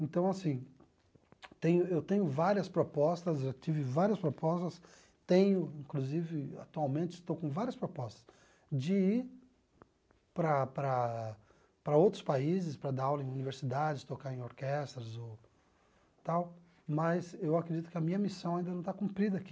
Então, assim, tem eu tenho várias propostas, já tive várias propostas, tenho, inclusive, atualmente estou com várias propostas de ir para para para outros países para dar aula em universidades, tocar em orquestras, ou tal, mas eu acredito que a minha missão ainda não está cumprida aqui.